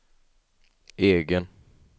egen